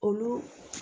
Olu